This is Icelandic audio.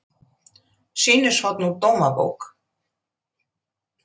Sýnishorn úr Dómabók